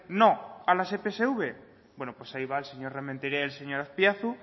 no a las epsv bueno pues ahí va el señor rementeria y el señor aspiazu